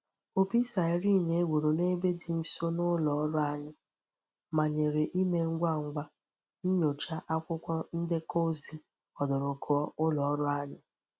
Opi siren e gburu n'ebe di nso n'uloru anyi manyere ime ngwa ngwa nyocha akwukwo ndeko ozi odurukuo uloru anyi.